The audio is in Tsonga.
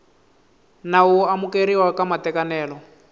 nawu wo amukeriwa ka matekanelo